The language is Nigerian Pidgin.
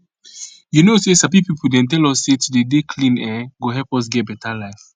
you know say sabi people dem tell us say to dey dey clean[um]go help us get beta life